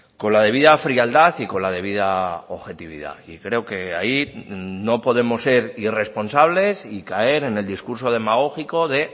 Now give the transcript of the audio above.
con la debida frialdad y con la debida objetividad y creo que ahí no podemos ser irresponsables y caer en el discurso demagógico de